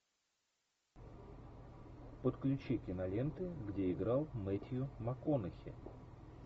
подключи киноленты где играл мэттью макконахи